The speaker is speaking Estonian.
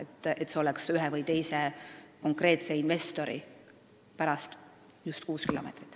Nii et see kriteerium ei ole ühe või teise konkreetse investori pärast.